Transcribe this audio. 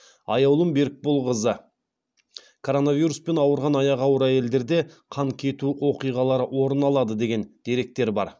аяулым берікболқызы коронавируспен ауырған аяғы ауыр әйелдерде қан кету оқиғалары орын алады деген деректер бар